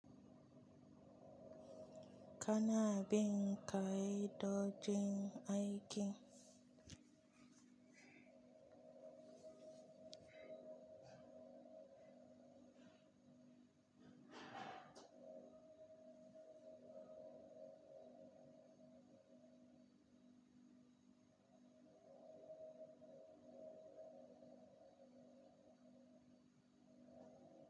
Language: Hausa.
Kana bin kai dodgin aiki?